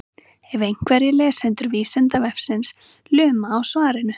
ef einhverjir lesendur vísindavefsins luma á svarinu